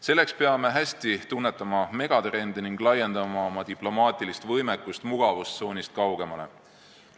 Selleks peame hästi tunnetama megatrende ning laiendama oma diplomaatilist võimekust mugavustsoonist kaugemale.